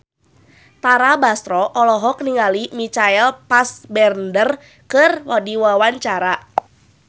Tara Basro olohok ningali Michael Fassbender keur diwawancara